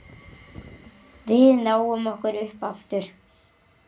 Við náum okkur upp aftur.